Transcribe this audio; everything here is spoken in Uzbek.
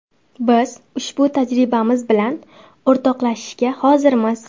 Biz ushbu tajribamiz bilan o‘rtoqlashishga hozirmiz.